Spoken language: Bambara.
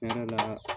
Kɛnɛ la